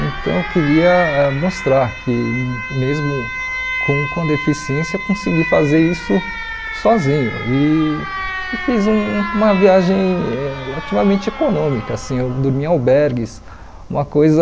Então eu queria mostrar que mesmo com com deficiência eu consegui fazer isso sozinho e e fiz um uma viagem relativamente econômica, assim, eu dormi em albergues, uma coisa